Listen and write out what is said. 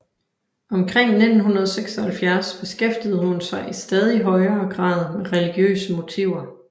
Omkring 1976 beskæftigede hun sig i stadig højere grad med religiøse motiver